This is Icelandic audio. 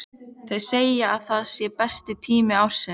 Þau segja að það sé besti tími ársins.